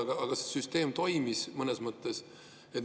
Aga siis see süsteem mõnes mõttes toimis.